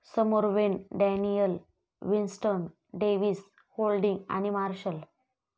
समोर Wayne Daniel, Winston Davis, Holding आणि marshal.